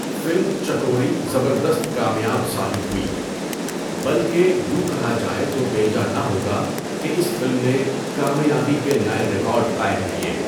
Film Chakori زبردست کامیاب ثابت ہوئی بلکہ یوں کہا جائے تو بیجا نہ ہو گا کہ اس فلم نے کامیابی کے نئے ریکارڈقائم کیے.